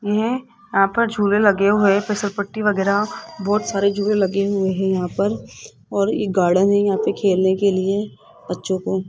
है यहां पर झूले लगे हुए फिसल पट्टी वगैरा बहुत सारे झूले लगे हुए हैं यहां पर और ये गार्डन है यहां पर खेलने के लिए बच्चों को।